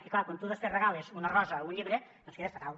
i clar quan tu després regales una rosa o un llibre doncs quedes fatal